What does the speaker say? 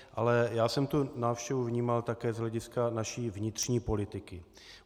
Ale já jsem tu návštěvu vnímal také z hlediska naší vnitřní politiky.